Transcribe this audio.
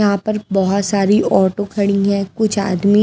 यहां पर बहुत सारी ऑटो खड़ी हैं कुछ आदमी--